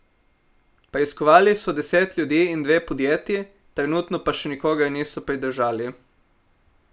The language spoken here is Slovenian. Preiskovali so deset ljudi in dve podjetji, trenutno pa še nikogar niso pridržali.